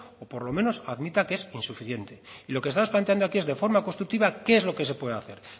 o por lo menos admita que es insuficiente y lo que estamos planteando aquí es de forma constructiva qué es lo que se puede hacer